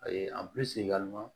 A ye